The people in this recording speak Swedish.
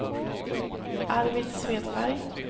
Arvid Svedberg